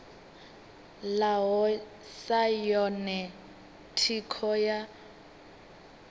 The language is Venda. ḽaho sa yone thikho ya